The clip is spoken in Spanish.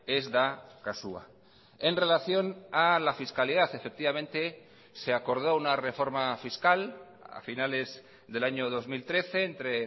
ez da kasua en relación a la fiscalidad efectivamente se acordó una reforma fiscal a finales del año dos mil trece entre